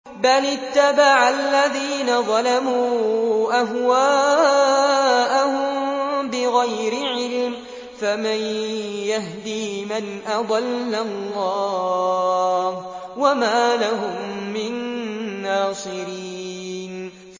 بَلِ اتَّبَعَ الَّذِينَ ظَلَمُوا أَهْوَاءَهُم بِغَيْرِ عِلْمٍ ۖ فَمَن يَهْدِي مَنْ أَضَلَّ اللَّهُ ۖ وَمَا لَهُم مِّن نَّاصِرِينَ